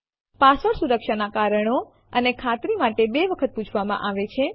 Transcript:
password સુરક્ષા ના કારણો અને ખાતરી માટે બે વખત પૂછવામાં આવે છે